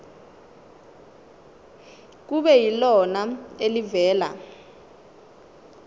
kube yilona elivela